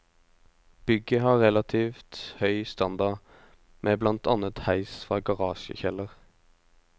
Bygget har relativt høy standard med blant annet heis fra garasjekjeller.